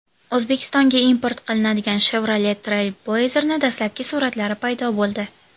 O‘zbekistonga import qilinadigan Chevrolet Trailblazer’ning dastlabki suratlari paydo bo‘ldi .